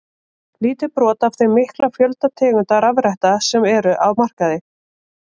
Lítið brot af þeim mikla fjölda tegunda rafretta sem eru á markaði.